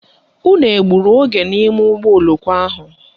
Unu egburu oge n'ime ụgbọoloko ahụ?